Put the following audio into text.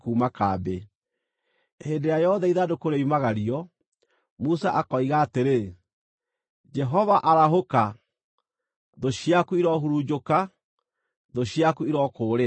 Hĩndĩ ĩrĩa yothe ithandũkũ rĩoimagario, Musa akoiga atĩrĩ, “Jehova, arahũka! Thũ ciaku irohurunjũka; thũ ciaku irokũũrĩra.”